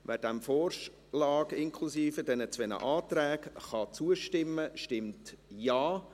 Wer dem Vorschlag inklusive der beiden Anträge zustimmen kann, stimmt Ja,